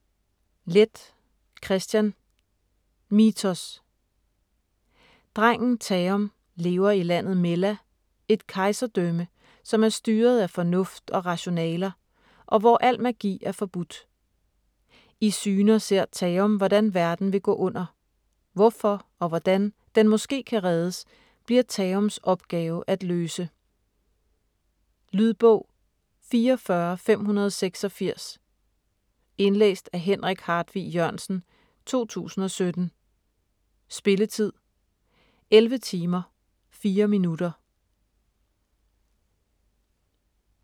Leth, Kristian: Mithos Drengen Taom lever i landet Mella, et kejserdrømme, som er styret af fornuft og rationaler, og hvor al magi er forbudt. I syner ser Taom, hvordan verden vil gå under. Hvorfor og hvordan den måske kan reddes, bliver Taoms opgave at løse. Lydbog 44586 Indlæst af Henrik Hartvig Jørgensen, 2017. Spilletid: 11 timer, 4 minutter.